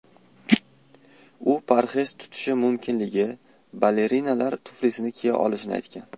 U parhez tutishi mumkinligi, balerinalar tuflisini kiya olishini aytgan.